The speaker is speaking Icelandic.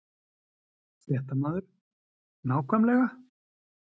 Fréttamaður: Nákvæmlega?